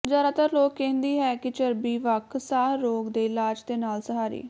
ਜ਼ਿਆਦਾਤਰ ਲੋਕ ਕਹਿੰਦੀ ਹੈ ਕਿ ਚਰਬੀ ਵੱਖ ਸਾਹ ਰੋਗ ਦੇ ਇਲਾਜ ਦੇ ਨਾਲ ਸਹਾਰੀ